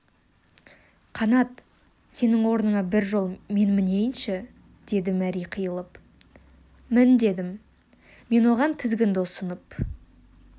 қанат сенің орныңа бір жол мен мінейінші деді мәри қиылып мін дедім мен оған тізгінді ұсынып